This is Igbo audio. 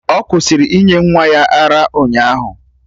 Ọ kwụsịrị inye nwa ya ara ụnyaahụ